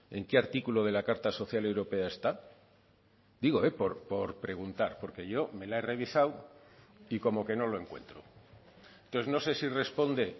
en qué artículo de la carta social europea está digo por preguntar porque yo me la he revisado y como que no lo encuentro entonces no sé si responde